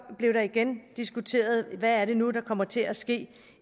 blev der igen diskuteret hvad det nu er der kommer til at ske